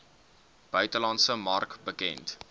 buitelandse mark bekend